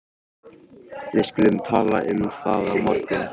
Við skulum tala um það á morgun